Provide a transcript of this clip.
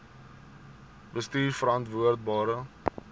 bestuurverantwoordbare